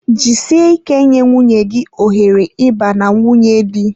Jisie ike nye nwunye gị ohere ịba na nwunye di